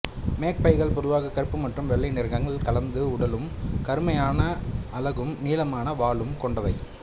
மேக்பைகள் பொதுவாக கருப்பு மற்றும் வெள்ளை நிறங்கள் கலந்த உடலும் கருமையான அலகும் நீளமான வாலும் கொண்டவை